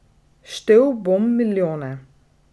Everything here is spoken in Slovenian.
Štel bom milijone.